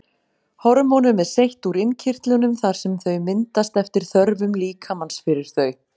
Hormónum er seytt úr innkirtlunum þar sem þau myndast eftir þörfum líkamans fyrir þau.